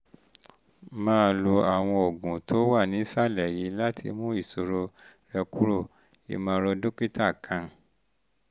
máa lo um àwọn oògùn tó wà um nísàlẹ̀ yìí láti mú ìṣòro um rẹ kúrò: ìmọ̀ràn dókítà one